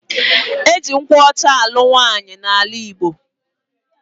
Eji nkwụ ọcha anụ nwaanyi na ala igbo.